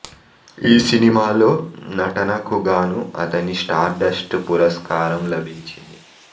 ఈ సినిమాలో నటనకు గాను అతని స్టార్ డస్ట్ పురస్కారం లభించింది